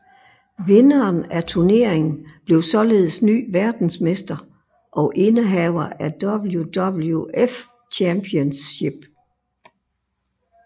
Vinderen af turneringen blev således ny verdensmester og indehaver af WWF Championship